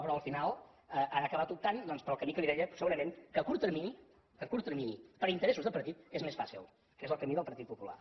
però al final han acabat optant doncs pel camí que li deia segurament que a curt termini a curt termini per interessos de partit és més fàcil que és el camí del partit popular